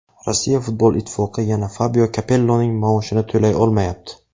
Rossiya futbol ittifoqi yana Fabio Kapelloning maoshini to‘lay olmayapti.